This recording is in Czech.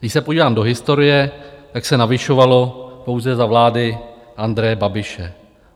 Když se podívám do historie, tak se navyšovalo pouze za vlády Andreje Babiše.